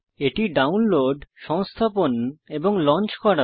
এটি ডাউনলোড সংস্থাপণ এবং লঞ্চ করা